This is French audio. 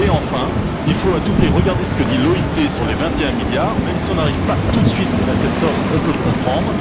Et enfin, il faut à tout prix regarder ce que dit l'OIT sur les 21 milliards, même si nous n'arrivons pas tout de suite à cette somme, on peut le comprendre.